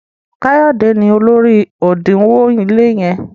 Kayode ní olórí odinwo ile yen.